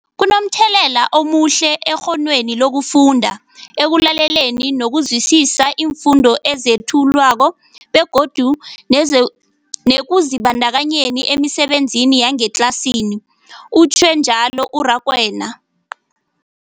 Kunomthelela omuhle ekghonweni lokufunda, ekulaleleni nokuzwisiswa iimfundo ezethulwako begodu nezu nekuzibandakanyeni emisebenzini yangetlasini, utjhwe njalo u-Rakwena.